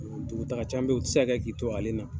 Dugutaga caman be yen, o ti se ka kɛ k'i to ale na.